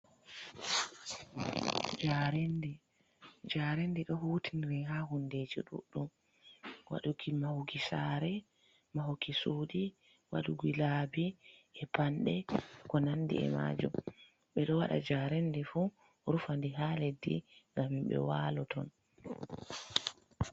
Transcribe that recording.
Njaarendi, njaarendi ɗo hutiniri ha hundeji ɗuɗɗum, waɗuki mahuki sare mahuki suuɗi, waɗuki labi e panɗe, ko nandi e majum ɓeɗo waɗa njaarendi fu rufande ha leddi ngam himɓe wala ton.